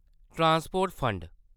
transport fund